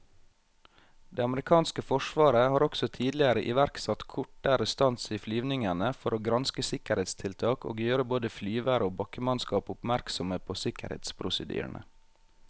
Det amerikanske forsvaret har også tidligere iverksatt kortere stans i flyvningene for å granske sikkerhetstiltak og gjøre både flyvere og bakkemannskap oppmerksomme på sikkerhetsprosedyrene.